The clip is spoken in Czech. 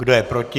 Kdo je proti?